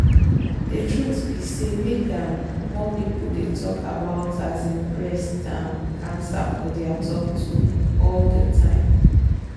the truth be say make um more people dey talk about um breast um cancer for their talk all the time.